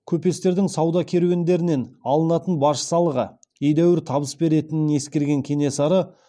көпестердің сауда керуендерінен алынатын баж салығы едәуір табыс беретінін ескерген кенесары